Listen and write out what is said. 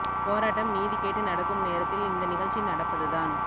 போராட்டம் நீதி கேட்டு நடக்கும் நேரத்தில் இந்த நிகழ்ச்சி ந்டப்பது தான்